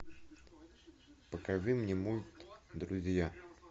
покажи мне мульт друзья